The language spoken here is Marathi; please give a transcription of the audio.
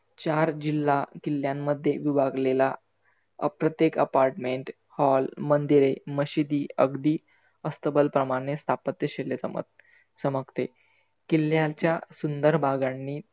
चार जिल्हा किल्यांमध्ये दुभागलेला अप्रत्येक apartment, hall मंदिरे, मशिदी अगदी अस्तबल प्रमाने स्तापत्यशैल्य सामक सामकते चमकते. किल्ल्याच्या सुंदर भागांनी